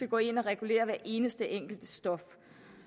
gå ind og regulere hvert eneste enkelte stof